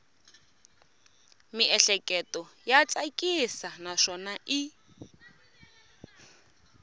miehleketo ya tsakisa naswona i